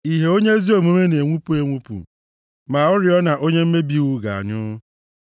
Ìhè onye ezi omume na-enwupụ enwupụ, ma oriọna onye mmebi iwu ga-anyụ.